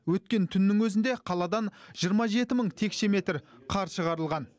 өткен түннің өзінде қаладан жиырма жеті мың текше метр қар шығарылған